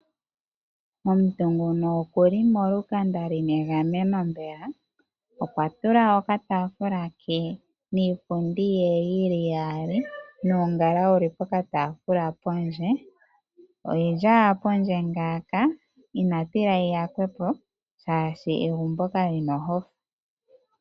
Omuntu ngono okuli molukanda lina egameno mbela . Okwa tula okataafula ke niipundi ye yili iyali nuungala wuli poka taafula pondje , oyili owala pondje ngaaka ina tila yi yakwe po shaashi egumbo kalina ohofa .